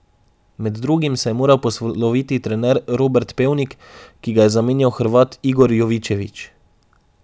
Med drugimi se je moral posloviti trener Robert Pevnik, ki ga je zamenjal Hrvat Igor Jovičević.